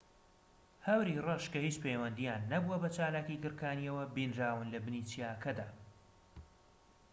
هەوری ڕەش کە هیچ پەیوەندیان نەبووە بە چالاکیی گڕکانییەوە بینراون لە بنی چیاکەدا